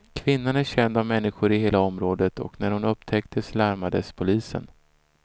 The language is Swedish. Kvinnan är känd av människor i hela området och när hon upptäcktes larmades polisen.